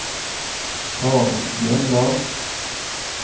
Karen Bjørndal